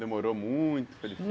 Demorou muito?